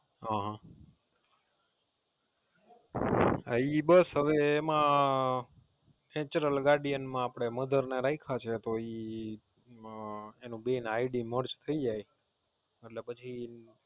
હા ઈ બસ હવે એમાં Natural guardian માં Mother ને રાયખા છે તો ઇ એના બે નું IDMerge થાય જાય એટલે પછી.